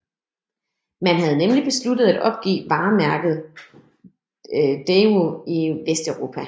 Man havde nemlig besluttet at opgive varemærket Daewoo i Vesteuropa